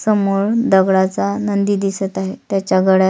समोर दगडाचा नंदी दिसत आहे त्याच्या गळ्यात.